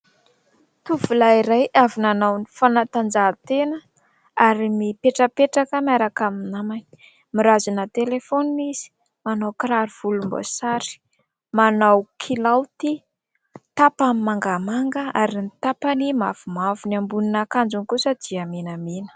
Tovolahy iray avy nanao ny fanatanjaha-tena ary mipetrapetraka miaraka amin'ny namany. Mirazona telefaonina izy, manao kiraro volomboasary, manao kilaoty tapany mangamanga ary ny tapany mavomavo. Ny ambonin'akanjony kosa dia menamena.